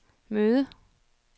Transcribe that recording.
møde